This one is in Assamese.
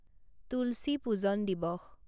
তুলচী পূজন দিৱস